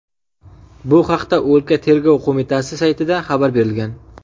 Bu haqda o‘lka Tergov qo‘mitasi saytida xabar berilgan .